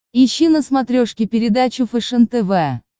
ищи на смотрешке передачу фэшен тв